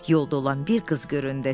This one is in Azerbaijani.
Yolda olan bir qız göründü.